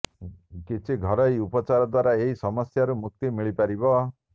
କିଛି ଘରୋଇ ଉପଚାର ଦ୍ୱାରା ଏହି ସମସ୍ୟାରୁ ମୁକ୍ତି ମିଳିପାରିବ